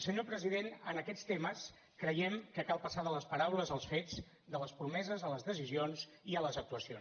senyor president en aquests temes creiem que cal passar de les paraules als fets de les promeses a les decisions i a les actuacions